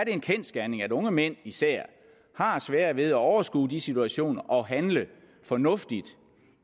en kendsgerning at unge mænd især har sværere ved at overskue de situationer og handle fornuftigt